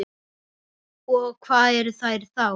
Og hvað eru þær þá?